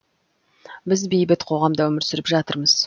біз бейбіт қоғамда өмір сүріп жатырмыз